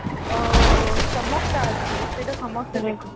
ଅ ଚମକ ଟା ଅଛି ସେଇଟା ସମସ୍ତେ ଦେଖନ୍ତୁ